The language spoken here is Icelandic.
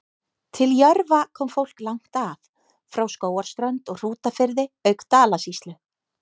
Til Jörfa kom fólk langt að, frá Skógarströnd og Hrútafirði auk Dalasýslu.